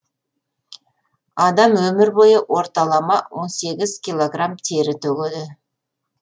адам өмір бойы орталама он сегіз килограмм тері төгеді